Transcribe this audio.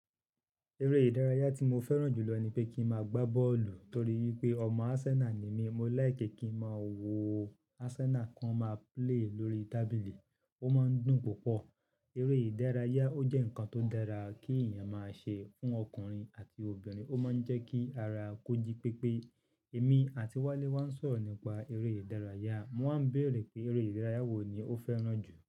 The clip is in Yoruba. Eré ìdárayá tí mo fẹ́ràn jù lọ ni pé kí n máa gbá bọ́ọ̀lù torí pé ọmọ Arsenal ni mí, mo láì kí kí n máa wo Arsenal kan máa play lórí tábìlì, ó máa ń dùn púpọ̀. Eré ìdárayá, ó jẹ́ nǹkan tó dára kí èèyàn máa ṣe fún ọkùnrin àti obìnrin, ó máa ń jẹ́ kí ara kó jí pépé. Èmi àti Wálé wáa ń sọ̀rọ̀ nípa eré ìdárayá, mo máa ń béèrè pé eré ìdárayá wo ni ó fẹ́ràn jù.